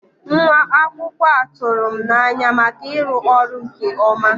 Nwa akwụkwọ a tụrụ m n'anya maka ịrụ ọrụ nke ọma.